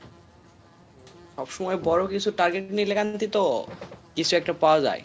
সব সময় বড় কিছু target নিলে দিত কিছু একটা পাওয়া যাই।